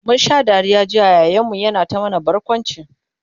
mun Sha Dariya jiya yayan mu na ta mana barkwanci